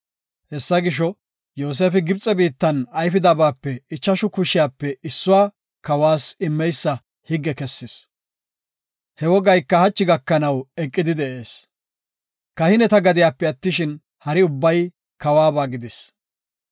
Hessa gisho, Yoosefi Gibxe biittan ayfidabape ichashu kushiyape issuwa kawas immeysa higge kessis. He wogayka hachi gakana eqidi de7ees. Kahineta gadiyape attishin, hari ubbay kawuwaba gidis.